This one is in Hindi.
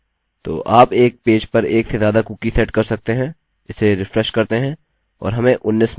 तो आप एक पेज पर एक से ज्यादा कुकी सेट कर सकते हैं इसे रिफ्रेश करते हैं और हमें 19 मिलता है